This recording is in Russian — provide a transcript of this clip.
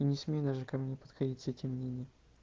и не смей даже ко мне подходить с этим мнением